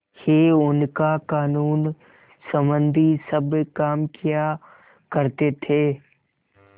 ही उनका कानूनसम्बन्धी सब काम किया करते थे